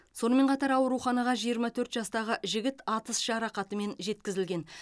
сонымен қатар ауруханаға жиырма төрт жастағы жігіт атыс жарақатымен жеткізілген